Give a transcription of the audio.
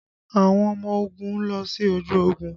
Àwọn ọmọ ogun lọ sí ojú ogun